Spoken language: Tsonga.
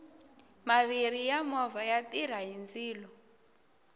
maviri ya movha ya tirha hi ndzilo